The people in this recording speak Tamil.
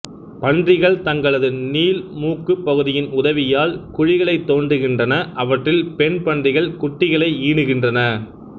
பன்றிகள் தங்களது நீள்மூக்குப்பகுதியின் உதவியால் குழிகளைத் தோண்டுகின்றன அவற்றில் பெண் பன்றிகள் குட்டிகளை ஈனுகின்றன